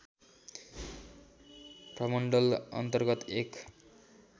प्रमण्डल अन्तर्गत एक